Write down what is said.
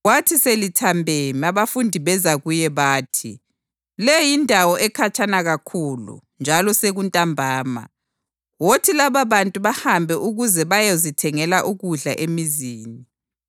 Kwathi selithambeme abafundi beza kuye bathi, “Le yindawo ekhatshana kakhulu njalo sekuntambama. Wothi lababantu bahambe ukuze bayozithengela ukudla emizini.”